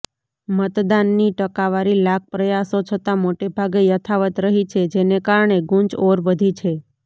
મતદાનની ટકાવારી લાખ પ્રયાસો છતાં મોટેભાગે યથાવત્ રહી છે જેને કારણે ગૂંચ ઓર વધી છે